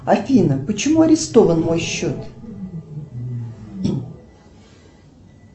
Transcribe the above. афина почему арестован мой счет